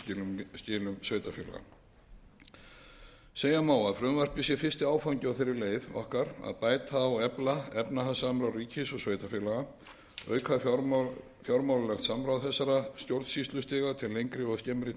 reikningsskilum sveitarfélaga segja má að frumvarpið sé fyrsti áfangi á þeirri leið okkar að bæta og efla efnahagssamráð ríkis og sveitarfélaga auka fjármálalegt samráð þessara stjórnsýslustiga til lengri og skemmri